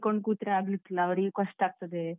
ಕೂತ್ರೆ ಆಗ್ಲಿಕ್ಕಿಲ್ಲ ಅವ್ರಿಗೂ ಕಷ್ಟ ಆಗ್ತದೆ.